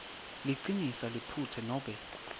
liciniso liphutsa nobe